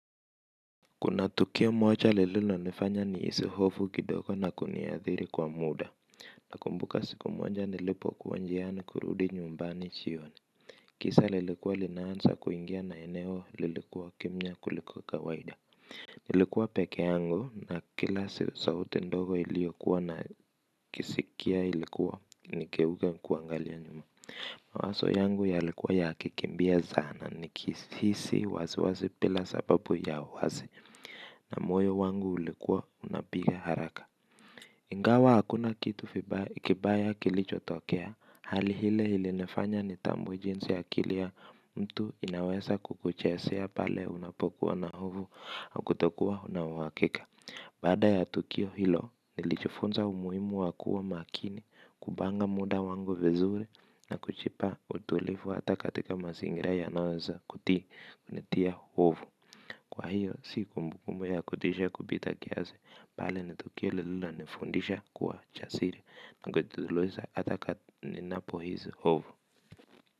Kuna tukio moja lililonifanya nihisi hofu kidogo na kuniathiri kwa muda. Nakumbuka siku moja nilipokuwa njiani kurudi nyumbani jioni. Giza lilikuwa linaanza kuingia na eneo lilikuwa kimya kuliko kawaida. Nilikuwa peke yangu na kila sauti ndogo niliyokuwa nakisikia ilikuwa nigeuke kuangalia nyuma. Wazo yangu yalikuwa yakikimbia sana nikihisi wasiwasi bila sababu ya uwazi. Na moyo wangu ulikuwa unapiga haraka. Ingawa hakuna kitu kibaya kilichotokea hali ile ilinifanya nitambue jinsi akili mtu inaweza kukuchezea pale unapokuwa na hofu ya kutokuwa una uhakika. Baada ya tukio hilo nilijifunza umuhimu wa kuwa makini. Kupanga muda wangu vizuri na kujipa utulivu hata katika mazingira yanayoweza kunitia hofu kwa hiyo si kumbukumbu ya kutisha kupita kiasi bali ni tukio linalonifundisha kuwa jasiri hata ninapohisi hofu.